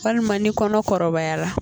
Walima ni kɔnɔ kɔrɔbayara